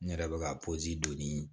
N yɛrɛ bɛ ka don ni